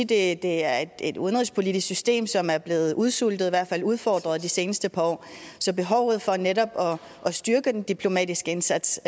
det er et udenrigspolitisk system som er blevet udsultet i hvert fald udfordret de seneste par år så at styrke den diplomatiske indsats